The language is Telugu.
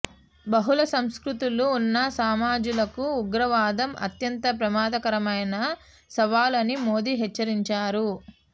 బహుళ సంస్కృతులు ఉన్న సమాజాలకు ఉగ్రవాదం అత్యంత ప్రమాదకరమైన సవాలు అని మోదీ హెచ్చరించారు